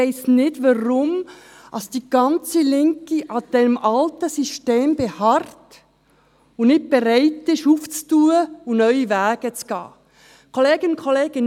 Ich weiss nicht, warum die ganze Linke auf diesem alten System beharrt und nicht bereit ist, es zu öffnen und neue Wege zu gehen.